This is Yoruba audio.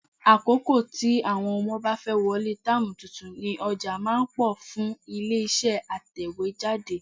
Àkókò tí àwọn ọmọ bá fẹ́ wọlé táàmù tuntun ni ọjà máa ń pọ̀ fún ilé-iṣẹ́ atẹ̀wéjáde.